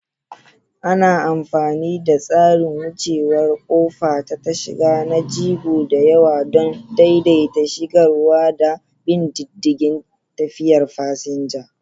Ana amfani da tsarin wucewar ƙofa ta tasha na jigo da yawa don daidaita shigarwa da bin diddigin tafiyar fasinja.